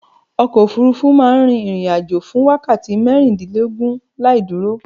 Ọkọ̀ òfurufú rufú ma n rin ìrìn ajo fún wákàti mérìndínlógún laìdúró